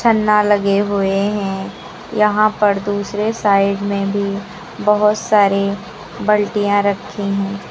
लगे हुए हैं यहां पर दूसरे साइड में भी बहुत सारी बाल्टियां रखी है।